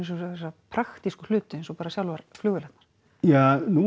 þessa praktísku hluti eins og sjálfar flugvélarnar ja nú